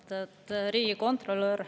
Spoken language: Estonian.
Austatud riigikontrolör!